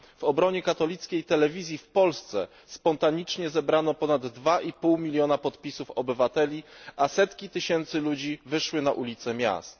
W obronie katolickiej telewizji w Polsce spontanicznie zebrano ponad 2,5 miliona podpisów obywateli, a setki tysięcy ludzi wyszły na ulice miast.